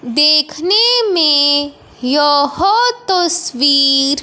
देखने में यह तस्वीर --